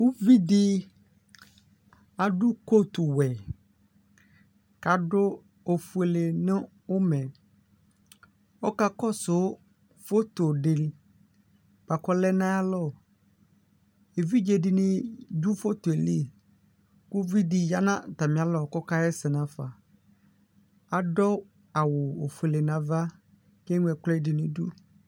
Ʋvidi adʋ kotuwɛ kʋ adʋ ofuele nʋ ʋmɛ ɔkakɔsʋ fotodi kʋ ɔlɛ nʋ ayʋ alɔ evidze dini dʋ foto yɛli kʋ ʋvidi yanʋ atami alɔ kʋ ɔkaxa ɛsɛ nʋ afa adʋ awʋ ofuele nʋ ava kʋ eŋlo ɛkʋɛdu nʋ idʋ